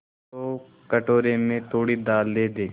तो कटोरे में थोड़ी दाल दे दे